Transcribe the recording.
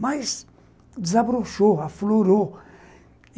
mas desabrochou, aflorou.